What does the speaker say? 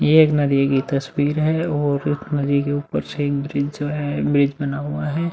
ये एक नदी तस्वीर है और उस नदी के ऊपर से एक ब्रिज जो है ब्रिज बना हुआ है।